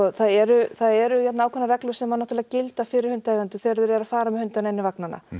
það eru það eru ákveðnar reglur sem gilda fyrir hundaeigendur þegar þeir eru að fara með hundana inn í vagnana